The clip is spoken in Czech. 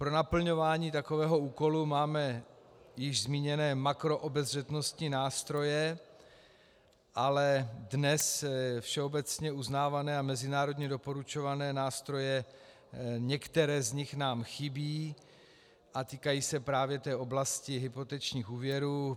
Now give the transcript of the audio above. Pro naplňování takového úkolu máme již zmíněné makroobezřetnostní nástroje, ale dnes všeobecně uznávané a mezinárodně doporučované nástroje, některé z nich nám chybí a týkají se právě té oblasti hypotečních úvěrů.